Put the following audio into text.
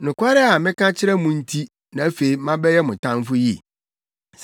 Nokware a meka kyerɛ mo nti na afei mabɛyɛ mo tamfo yi?